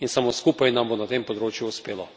In samo skupaj nam bo na tem področju uspelo.